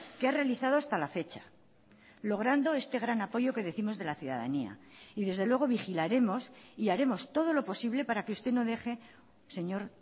que ha realizado hasta la fecha logrando este gran apoyo que décimos de la ciudadanía y desde luego vigilaremos y haremos todo lo posible para que usted no deje señor